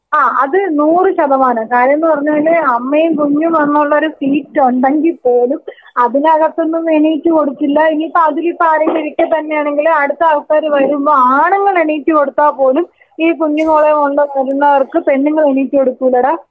ആ അത് നൂർ ശതമാനം. കാര്യമെന്ന് പറഞ്ഞ അമ്മയും കുഞ്ഞും എന്നുള്ളൊരു സീറ്റ് ഉണ്ടെങ്കിൽ പോലും അതിനകത്ത് നിന്ന് എണീറ്റ് കൊടുക്കില്ല. ഇനിയിപ്പോ അതിൽ ഇപ്പോ ആരെങ്കിലും ഇരിക്ക തന്നെയാണെങ്കിൽ അടുത്ത ആൾക്കാര് വരുമ്പോ ആണുങ്ങൾ എണീറ്റ് കൊടുത്താൽ പോലും ഈ കുഞ്ഞുങ്ങളെ കൊണ്ടുവരുന്നവർക്ക് പെണ്ണുങ്ങൾ എണീറ്റ് കൊടുക്കുല്ലെടാ.